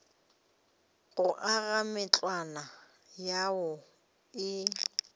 go aga matlwana ao a